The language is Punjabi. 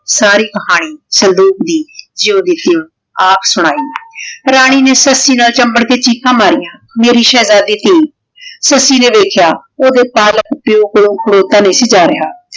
ਸਾਰੀ ਕਹਾਨੀ ਸੰਦੂਕ਼ ਦੀ ਜਿਵੇਂ ਦੀ ਸੀ ਆਪ ਸੁਨਾਈ। ਰਾਨੀ ਨੇ ਸੱਸੀ ਨਾਲ ਚੈਮ੍ਬਰ ਕੇ ਚੀਖਾਂ ਮਾਰਿਆ, ਮੇਰੀ ਸ਼ੇਹ੍ਜ਼ਾਦੀ ਟੀ ਸੱਸੀ ਨੇ ਵੇਖ੍ਯਾ ਓਡੀ ਪਾਲਕ ਪਾਯੋ ਕੋਲੋਂ ਖਲੋਤਾ ਨਹੀ ਸੀ ਜਾ ਰਯ